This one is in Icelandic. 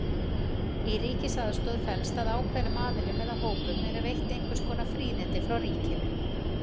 Í ríkisaðstoð felst að ákveðnum aðilum eða hópum eru veitt einhvers konar fríðindi frá ríkinu.